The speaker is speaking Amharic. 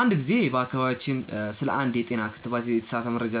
አንድ ጊዜ በአካባቢያችን ስለ አንድ የጤና ክትባት የተሳሳተ መረጃ